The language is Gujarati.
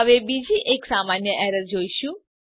હવે બીજી એક સામાન્ય એરરને જોઈશું